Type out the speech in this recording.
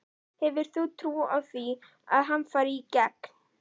Hefur þú trú á því að hann fari í gegn?